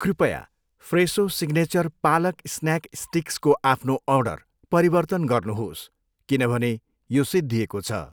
कृपया फ्रेसो signature palak snack स्टिक्सको आफ्नो अर्डर परिवर्तन गर्नुहोस् किनभने यो सिद्धिएको छ।